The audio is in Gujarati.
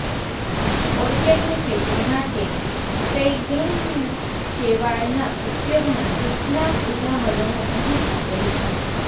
ઓર્કેડની ખેતી માટે સ્ફૅગ્નુમ શેવાળના ઉપયોગના કેટલાક ઉદાહરણો અહીં આપેલ છે